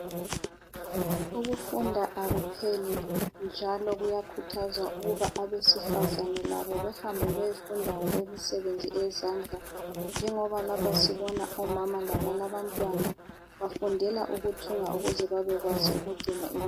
Ukufunda akuphela njalo kuyakhuthazwa ukuba abesifazana labo behambe beyefunda ngokwemisebenzi eyezandla njengoba lapha sibona omama labalabantwana bafundela ukuthunga ukuze babekwazi ukugcina muli .